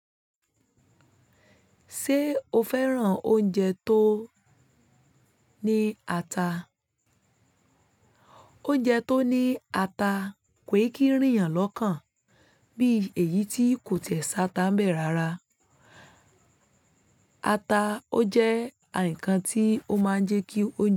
Ṣé o fẹ́ràn oúnjẹ tó ní ata? Oúnjẹ tó ní ata kò kí ń rìn yàn lọ́kàn bí èyí tí kò tẹ̀ sátà bẹ̀ rara. Ata ó jẹ́ ǹkan tí ó máa ń jẹ́ kí oúnjẹ.